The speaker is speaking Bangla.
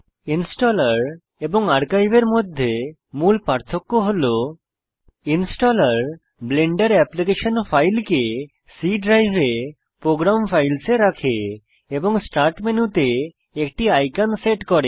ইনস্টলার এবং আর্কাইভ এর মধ্যে মূল পার্থক্য হল ইনস্টলার ব্লেন্ডার এপ্লিকেশন ফাইলকে C ড্রাইভ প্রোগ্রাম ফাইলস এ রাখে এবং স্টার্ট মেনুতে একটি আইকন সেট করে